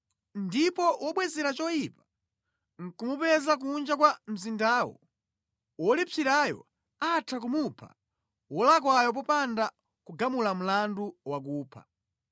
ndipo wobwezera choyipa nʼkumupeza kunja kwa mzindawo, wolipsirayo atha kumupha wolakwayo popanda kugamula mlandu wakupha.